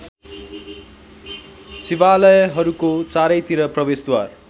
शिवालयहरूको चारैतिर प्रवेशद्वार